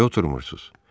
Niyə oturmursuz?